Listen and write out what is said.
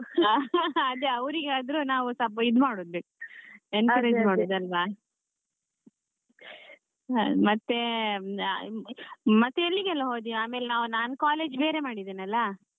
ಅದೇ ಅವ್ರಿಗೆ ಆದ್ರು ನಾವು ಸ್ವಲ್ಪ ಇದು ಮಾಡ್ಬೇಕು encourage ಅಲ್ವಾ. ಹಾ ಮತ್ತೆ ಮತ್ತೆ ಎಲ್ಲಿಗೆಲ್ಲಾ ಹೋದ್ಯಾ ಆಮೇಲೆ ನಾನ್ college ಬೇರೆ ಮಾಡಿದೆನಲ್ಲ